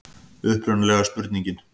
Upprunalega spurningin: